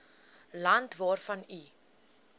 land waarvan u